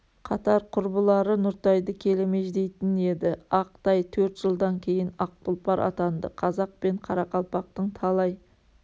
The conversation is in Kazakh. қатар-құрбылары нұртайды келемеждейтін еді ақ тай төрт жылдан кейін ақ тұлпар атанды қазақ пен қарақалпақтың талай